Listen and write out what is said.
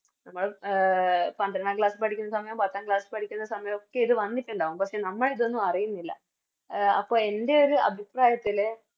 A പന്ത്രണ്ടാം Class പഠിക്കുന്ന സമയോം പത്താം Class പഠിക്കുന്ന സമായൊക്കെ ഇത് വന്നിട്ടുണ്ടാകും പക്ഷെ നമ്മളിതൊന്നും അറിയുന്നില്ല എ അപ്പൊ എൻറെയൊരു അഭിപ്രായത്തില്